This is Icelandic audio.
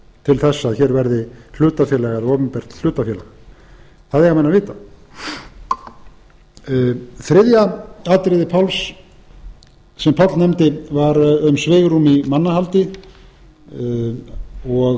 til þess að hér verði hlutafélag eða opinbert hlutafélag það eiga menn að vita þriðja atriðið sem páll nefndi var um svigrúm í mannahaldi og einhvers